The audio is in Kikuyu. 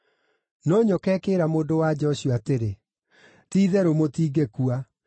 No nyoka ĩkĩĩra mũndũ-wa-nja ũcio atĩrĩ, “Ti-itherũ mũtingĩkua.